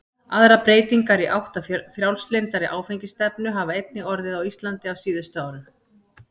Aðrar breytingar í átt að frjálslyndari áfengisstefnu hafa einnig orðið á Íslandi á síðustu árum.